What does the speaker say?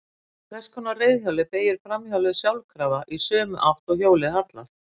Á þess konar reiðhjóli beygir framhjólið sjálfkrafa í sömu átt og hjólið hallar.